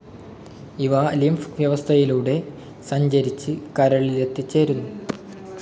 ഇവ ലിംഫ്‌ വ്യവസ്ഥയിലൂടെ സഞ്ചരിച്ച് കരളിലെത്തിച്ചേരുന്നു.